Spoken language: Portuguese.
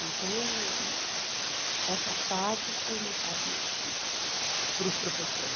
Então, essa fase foi uma fase muito difícil para os professores.